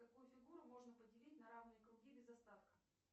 какую фигуру можно поделить на равные круги без остатка